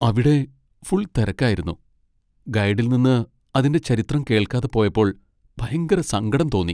അവിടെ ഫുൾ തെരക്കായിരുന്നു, ഗൈഡിൽ നിന്ന് അതിന്റെ ചരിത്രം കേൾക്കാതെ പോയപ്പോൾ ഭയങ്കര സങ്കടം തോന്നി .